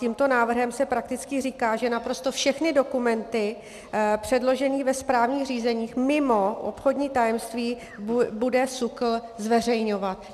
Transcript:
Tímto návrhem se prakticky říká, že naprosto všechny dokumenty předložené ve správních řízeních mimo obchodní tajemství bude SÚKL zveřejňovat.